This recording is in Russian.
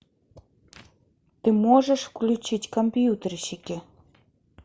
ты можешь включить компьютерщики